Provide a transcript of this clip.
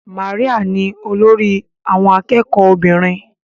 Maria ni olórí àwọn akẹ́kọ̀ọ́ obìnrin.